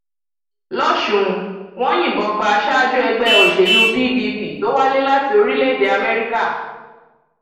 lọsùn wọn yìnbọn pa aṣáájú ẹgbẹ òṣèlú pdp tó wálé láti orílẹèdè amẹríkà